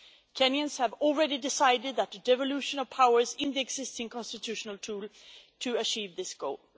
Kenyans have already decided on the devolution of powers, using the existing constitutional tool to achieve this goal.